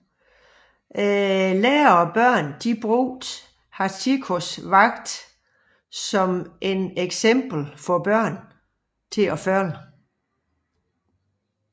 Lærere og forældre brugte Hachikōs vagt som et eksempel for børn at følge